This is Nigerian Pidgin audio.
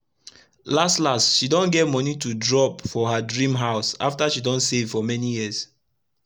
las las she don get moni to drop for her drim house after she don save for mani years